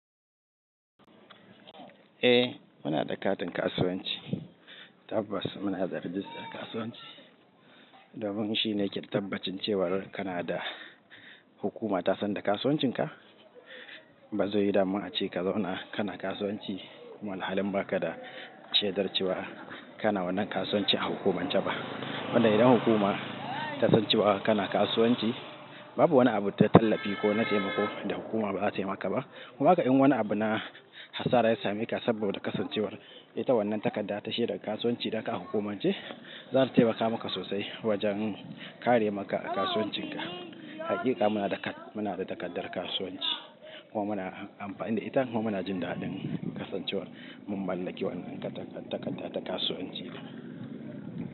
Eh, muna da katin kasuwanci. Tabbas muna da rijistar kasuwanci. Domin shine ke tabbacin cewar kana da hukuma ta san da kasuwancinka. Bazai yiwu dama a ce ka zauna kana kasuwanci, kuma ahalin ba ka da shaidar cewa kana wannan kasuwanci a hukumance ba. Wanda idan hukuma ta san cewa kana kasuwanci, babu wani abu da ta tallafi ko na taimako da hukuma bata taimaka ba. Haka in wani abu na hatsara ya same ka saboda kasancewar ita wannan takarda ta shaidar kasuwanci da ka ahukumance, za ta taimaka maka sosai wajen kare maka kasuwancinka. Haƙiƙa muna da kat-- muna da takardar kasuwanci kuma muna amfani da ita kuma muna jin daɗin kasancewar mun mallaki wannan takarda ta kasuwanci.